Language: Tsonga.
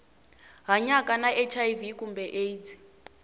hanyaka na hiv kumbe aids